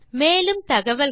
மேலும் தகவல்களுக்கு